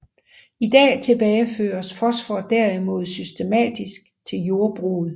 I dag tilbageføres fosfor derimod systematisk til jordbruget